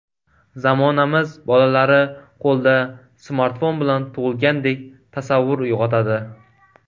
Zamonamiz bolalari qo‘lda smartfon bilan tug‘ilgandek tasavvur uyg‘otadi.